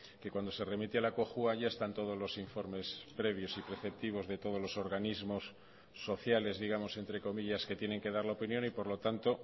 que cuando se remite a la cojua ya están todos los informes previos y preceptivos de todos los organismos sociales digamos entre comillas que tienen que dar la opinión y por lo tanto